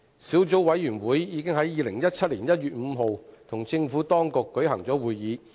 小組委員會已在2017年1月5日與政府當局舉行會議。